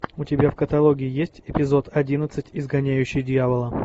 у тебя в каталоге есть эпизод одиннадцать изгоняющий дьявола